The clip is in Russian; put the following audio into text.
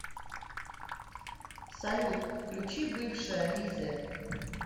салют включи бывшая лизер